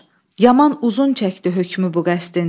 Yaman uzun çəkdi hökmü bu qəsdin.